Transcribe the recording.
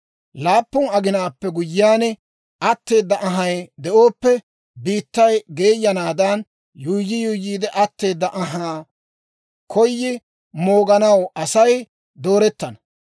Laappun aginaappe guyyiyaan, atteeda anhay de'ooppe, biittay geeyanaadan, yuuyyi yuuyyiide atteeda anhaa koyi mooganaw, Asay doorettana.